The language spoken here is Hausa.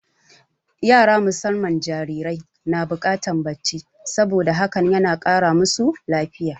Yara musamman jarirai na buƙatar bacci, saboda hakan na kara masu lafiya.